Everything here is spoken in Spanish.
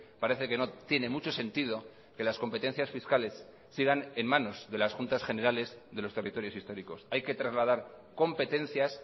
parece que no tiene mucho sentido que las competencias fiscales sigan en manos de las juntas generales de los territorios históricos hay que trasladar competencias